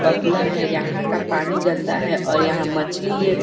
बगुला है यहाँ का पानी गन्दा है और यहाँ मछली ये --